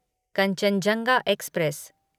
Kanchenjunga express